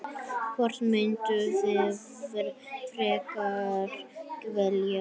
Hvort mynduð þið frekar velja?